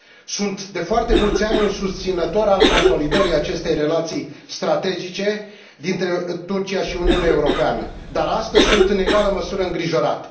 Sunt de foarte mulți ani un susținător al consolidării acestei relații strategice dintre Turcia și Uniunea Europeană, dar astăzi sunt în egală măsură îngrijorat.